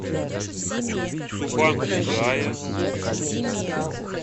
субанг джая